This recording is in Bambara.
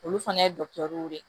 Olu fana ye dɔkitɛruw de